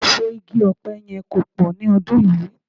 Èso igi ọ̀pẹ yẹn kò pọ̀ ni ọdún yìí